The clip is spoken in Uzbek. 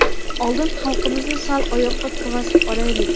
oldin xalqimizni sal oyoqqa turg‘azib olaylik.